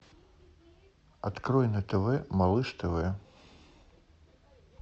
открой на тв малыш тв